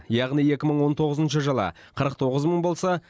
яғни екі мың он тоғызыншы жылы қырық тоғыз мың болса